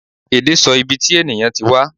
Ẹde sọ ìbí tí ènìyàn tí wá